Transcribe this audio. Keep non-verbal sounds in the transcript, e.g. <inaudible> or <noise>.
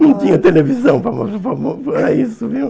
Não tinha televisão <unintelligible> para isso, viu?